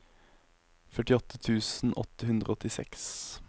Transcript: førtiåtte tusen åtte hundre og åttiseks